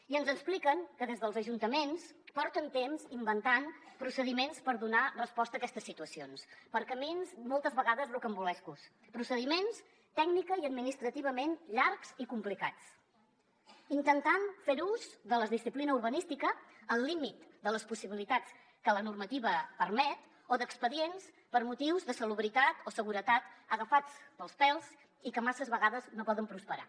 i ens expliquen que des dels ajuntaments porten temps inventant procediments per donar resposta a aquestes situacions per camins moltes vegades rocambolescos procediments tècnicament i administrativament llargs i complicats intentant fer ús de la disciplina urbanística al límit de les possibilitats que la normativa permet o d’expedients per motius de salubritat o seguretat agafats pels pèls i que massa vegades no poden prosperar